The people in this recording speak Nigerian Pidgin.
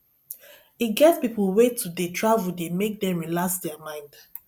e get pipo wey to dey travel dey make dem relax their mind